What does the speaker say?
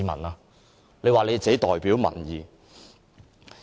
他們竟說自己代表民意。